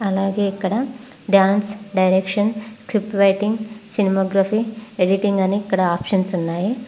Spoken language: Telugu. అలాగే ఇక్కడ dance direction script writing cinematography editing అని ఇక్కడ ఆప్షన్స్ ఉన్నాయి.